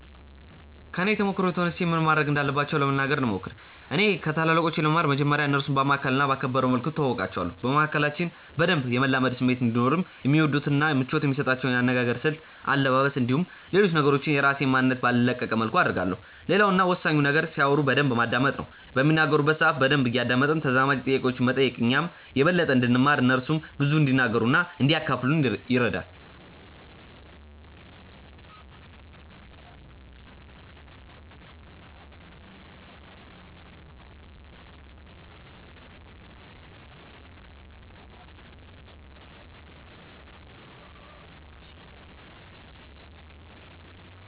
ከኔ ተሞክሮ ተነስቼ ምን ማድረግ እንዳለባቸው ለመናገር ልሞክር። እኔ ከታላላቆቼ ለመማር መጀመርያ እነርሱን ባማከለ እና ባከበረ መልኩ እተዋወቃቸዋለሁ። በመካከላችን በደንብ የመላመድ ስሜት እንዲኖርም የሚወዱትን እና ምቾት የሚሰጣቸውን የአነጋገር ስልት፣ አለባበስ፣ እንዲሁም ሌሎች ነገሮችን የራሴን ማንነት ባልለቀቀ መልኩ አደርጋለሁ። ሌላው እና ወሳኙ ነገር ሲያወሩ በደንብ ማዳመጥ ነው። በሚናገሩበት ሰአት በደንብ እያደመጥን ተዛማጅ ጥያቄዎችን መጠየቅ እኛም የበለጠ እንድንማር እነርሱም ብዙ እንዲናገሩ እና እንዲያካፍሉን ይረዳል።